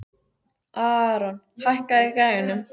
Aaron, hækkaðu í græjunum.